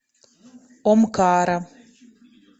омкара